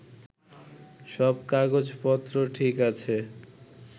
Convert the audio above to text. সব কাগজপত্র ঠিক আছে